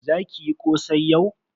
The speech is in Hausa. Za ki yi kosai yau.